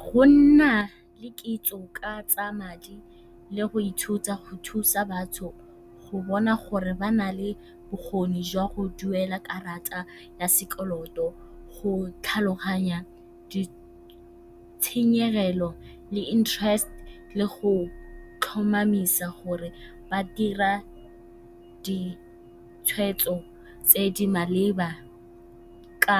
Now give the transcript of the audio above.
Go nna le kitso ka tsa madi le go ithuta go thusa batho go bona gore ba na le bokgoni jwa go duela karata ya sekoloto, go tlhaloganya ditshenyegelo le interest le go tlhomamisa gore ba dira ditshwetso tse di maleba ka